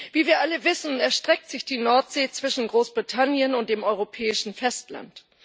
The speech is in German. Wie wir alle wissen, erstreckt sich die Nordsee zwischen Großbritannien und dem europäischen Festland.